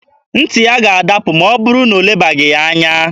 Ntị ya ga-adapụ ma ọ bụrụ na elebaghị ya anya.